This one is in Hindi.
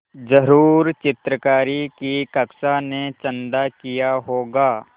ज़रूर चित्रकारी की कक्षा ने चंदा किया होगा